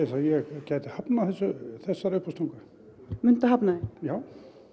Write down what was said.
að ég gæti hafnað þessari uppástungu muntu hafna því já